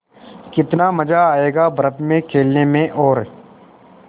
कितना मज़ा आयेगा बर्फ़ में खेलने में और